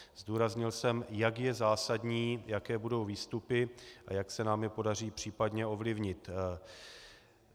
Zdůraznil jsem, jak je zásadní, jaké budou výstupy a jak se nám je podaří případně ovlivnit.